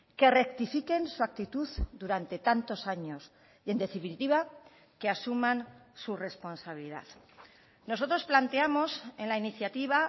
que rectifiquen su actitud durante tantos años y en definitiva que asuman su responsabilidad nosotros planteamos en la iniciativa